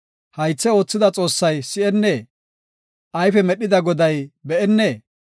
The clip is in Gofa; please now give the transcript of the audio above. Haythe oothida Xoossay si7ennee? Ayfe medhida Goday be7ennee?